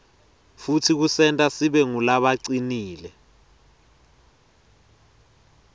futsi kusenta sibe ngulabacinile